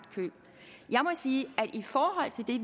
sige at